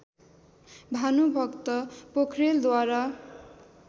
Bhanubhakta पोखरेलद्वारा